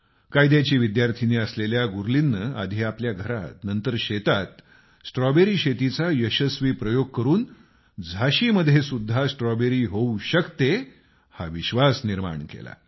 कायद्याची विद्यार्थिनी असलेल्या गुरलीननं आधी आपल्या घरात आणि नंतर शेतात स्ट्रॉबेरी शेतीचा यशस्वी प्रयोग करून झाशीमध्ये सुद्धा स्ट्रॉबेरी शेती होऊ शकते हा विश्वास जागवला आहे